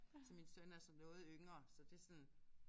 Så min søn er så noget yngre så det er sådan